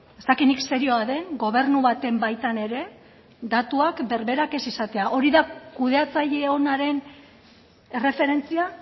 ez dakit nik serioa den gobernu baten baitan ere datuak berberak ez izatea hori da kudeatzaile onaren erreferentzia